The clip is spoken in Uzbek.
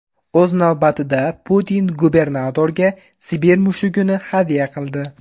O‘z navbatida, Putin gubernatorga Sibir mushugini hadya qildi.